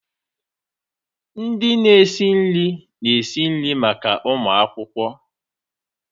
Ndị na-esi nri na-esi nri maka ụmụ akwụkwọ.